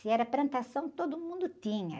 Se era plantação, todo mundo tinha.